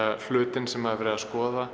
hlutinn sem er verið að skoða